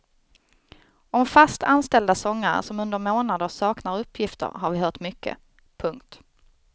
Om fast anställda sångare som under månader saknar uppgifter har vi hört mycket. punkt